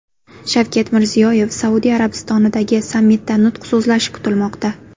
Shavkat Mirziyoyev Saudiya Arabistonidagi sammitda nutq so‘zlashi kutilmoqda .